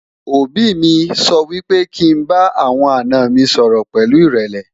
òbí mí sọ wípé kí n bá àwọn àná mi sọrọ pẹlu irẹlẹ